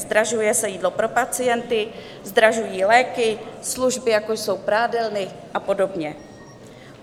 Zdražuje se jídlo pro pacienty, zdražují léky, služby, jako jsou prádelny a podobně.